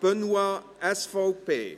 Benoit/SVP.